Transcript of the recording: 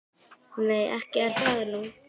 Nei, ekki er það nú.